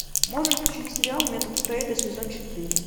можешь включить сериал метод фрейда сезон четыре